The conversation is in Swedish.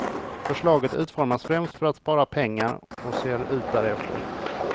Förslaget utformas främst för att spara pengar och ser ut därefter.